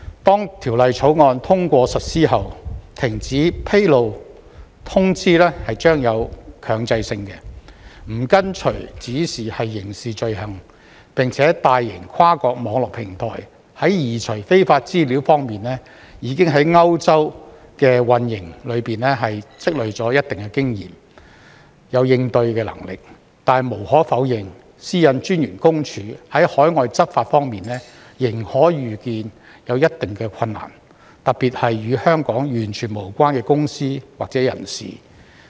當《條例草案》通過實施後，停止披露通知將具有強制性，不跟從指示是刑事罪行，並且大型跨國網絡平台在移除非法資料方面已在歐洲的運營中積累了一定的經驗、有應對能力，但無可否認，私隱公署在海外執法方面仍可預見有一定的困難，特別是與香港完全無關的公司或人士。